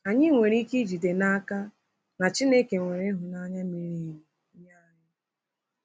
Anyị nwere ike ijide n’aka na Chineke nwere ịhụnanya miri emi nye anyị.